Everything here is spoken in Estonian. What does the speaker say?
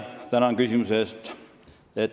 Tänan küsimuse eest!